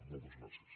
moltes gràcies